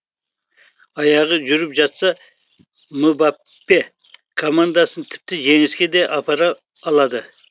аяғы жүріп жатса мбаппе командасын тіпті жеңіске де апара алады